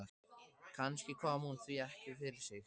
Kannski kom hún því ekki fyrir sig strax.